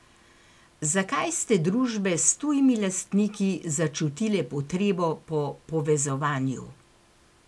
Zakaj ste družbe s tujimi lastniki začutile potrebo po povezovanju?